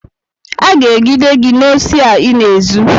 Aga egide gị n'osi a ịna-ezu!